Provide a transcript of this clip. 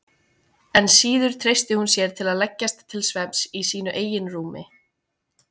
Enn síður treysti hún sér til að leggjast til svefns í sínu eigin rúmi.